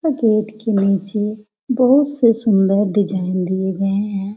यह गेट के नीचे बहोत से सुंदर डिजाइन दिए गए हैं।